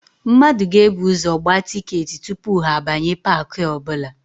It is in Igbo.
Mmadụ ga-ebu ụzọ gbaa tịketị tupu ha abanye paakị ọbụla.